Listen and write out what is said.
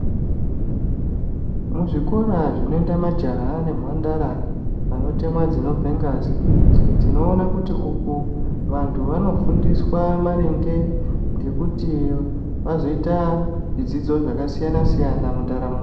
Muzvikora zvinoenda majaha nemhandara anotemwa dzinobva ngazi tinoone kuti umu Vantu vanofundiswa maringe nekuti vazoita zvidzidzo zvakasiyana siyana mundaramo .